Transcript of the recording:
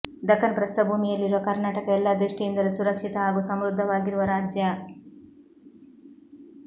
ದಖನ್ ಪ್ರಸ್ಥಭೂಮಿಯಲ್ಲಿರುವ ಕರ್ನಾಟಕ ಎಲ್ಲ ದೃಷ್ಟಿಯಿಂದಲೂ ಸುರಕ್ಷಿತ ಹಾಗೂ ಸಮೃದ್ಧವಾಗಿರುವ ರಾಜ್ಯ